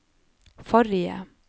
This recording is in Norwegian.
forrige